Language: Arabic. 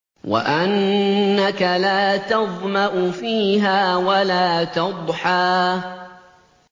وَأَنَّكَ لَا تَظْمَأُ فِيهَا وَلَا تَضْحَىٰ